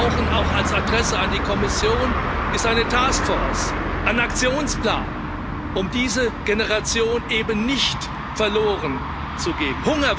Was wir brauchen, auch als Adresse an die Kommission, ist eine Task Force, ein Aktionsplan, um diese Generation eben nicht verloren zu geben.